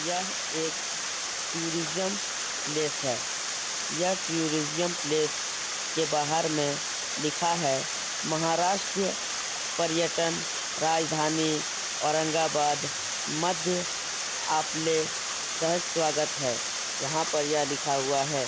यह एक tourism place है। यह टूरिजम प्लेस के बहार में लिखा है महाराष्टीय पर्यटन राजधानी औरंगाबाद मध्य आप ले सह स्वागत है। यहाँ पर यह लिखा हुआ है।